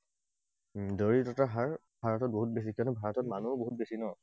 দৰিদ্ৰতা হাৰ হাৰটো বহুত বেছি, কিয়নো ভাৰতত মানুহো বহুত বেছি ন?